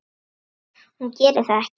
Hún gerir það ekki.